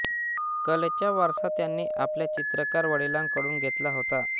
कलेचा वारसा त्यांनी आपल्या चित्रकार वडिलांकडून घेतला होता